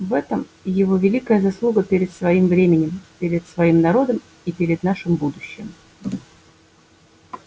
в этом его великая заслуга перед своим временем перед своим народом и перед нашим будущим